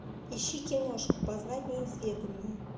ищи киношку познать неизведанное